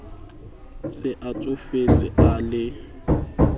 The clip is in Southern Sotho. se a tsofetse a le